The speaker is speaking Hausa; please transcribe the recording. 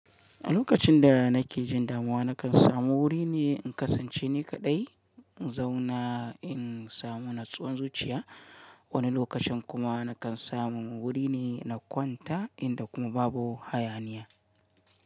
A lokacin da na ke jin damuwa, na kan samu wuri ne in kasance ni kaɗai, in zauna in samu natsuwan zuciya. Wani lokacin kuma na kan samu wuri ne na kwanta inda kuma babu hayaniya.